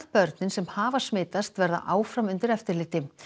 börnin sem hafa smitast verða áfram undir eftirliti